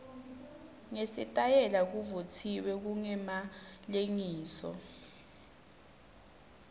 nesitayela kuvutsiwe kungemalengiso